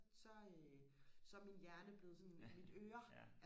så øh så er min hjerne blevet sådan mit øre